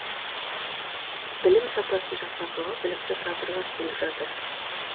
білім сапасын жақсартуға білікті кадрлар келіп жатыр